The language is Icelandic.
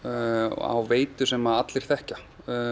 á veitu sem allir þekkja